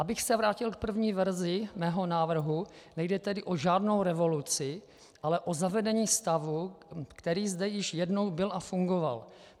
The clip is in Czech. Abych se vrátil k první verzi svého návrhu, nejde tedy o žádnou revoluci, ale o zavedení stavu, který zde již jednou byl a fungoval.